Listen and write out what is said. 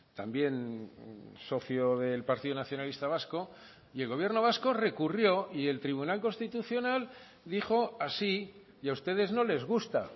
también socio del partido nacionalista vasco y el gobierno vasco recurrió y el tribunal constitucional dijo así y a ustedes no les gusta